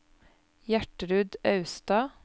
Gjertrud Austad